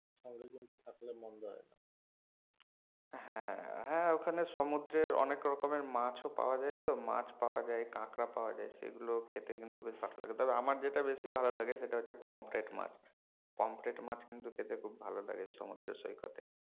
হ্যাঁ হ্যাঁ ওখানে সমুদ্রের অনেক রকমের মাছও পাওয়া যাই তো মাছ পাওয়া যায় কাঁকড়া পাওয়া যায় সেগুলো খেতে কিন্তু বেশ ভালো লাগে তবে আমার যেটা বেশি ভালো লাগে সেটা হচ্ছে পমফ্রেট মাছ, পমফ্রেট মাছ কিন্তু খেতে খুব ভালো লাগে সমুদ্র সৈকতে